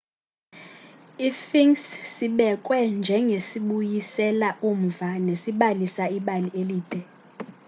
i-sphinx sibekwe njengesibuyisela umva nesibalisa ibali elide